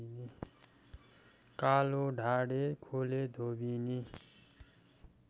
कालोढाडे खोलेधोबिनी